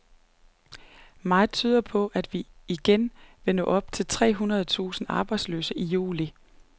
Meget tyder på, at vi igen vil nå op over tre hundrede tusind arbejdsløse i juli.